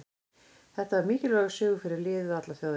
Þetta var mikilvægur sigur fyrir liðið og alla þjóðina.